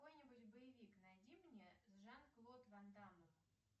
какой нибудь боевик найди мне с жан клод ван даммом